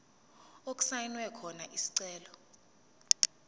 okusayinwe khona isicelo